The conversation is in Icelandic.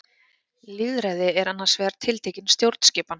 Lýðræði er annars vegar tiltekin stjórnskipan.